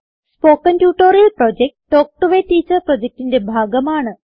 spoken tutorial project talk to a teacher പ്രൊജക്റ്റിന്റെ ഭാഗമാണ്